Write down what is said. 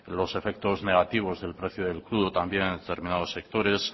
los efectos negativos del precio del crudo también de determinados sectores